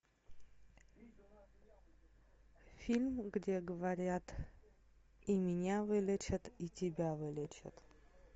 фильм где говорят и меня вылечат и тебя вылечат